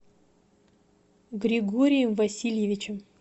григорием васильевичем